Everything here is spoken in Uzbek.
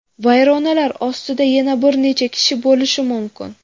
Vayronalar ostida yana bir necha kishi bo‘lishi mumkin.